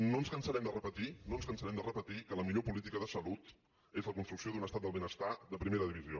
no ens cansarem de repetir no ens cansarem de repetir que la millor política de salut és la construcció d’un estat del benestar de primera divisió